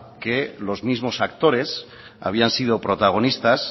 que los mismos actores habían sido protagonistas